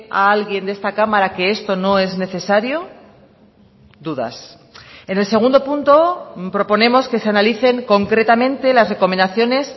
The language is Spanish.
a alguien de esta cámara que esto no es necesario dudas en el segundo punto proponemos que se analicen concretamente las recomendaciones